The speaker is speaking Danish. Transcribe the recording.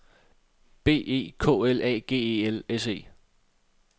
B E K L A G E L S E